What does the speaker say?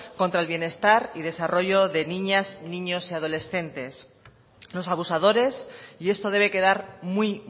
contra el bienestar y desarrollo de niñas niños y adolescentes los abusadores y esto debe quedar muy